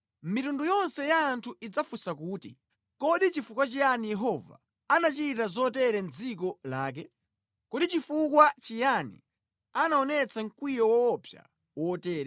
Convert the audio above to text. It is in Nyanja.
Mitundu yonse ya anthu idzafunsa kuti, “Kodi chifukwa chiyani Yehova anachita zotere mʼdziko lake? Kodi chifukwa chiyani anaonetsa mkwiyo woopsa wotere?”